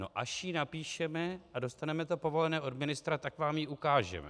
"No, až ji napíšeme a dostaneme to povolené od ministra, tak vám ji ukážeme."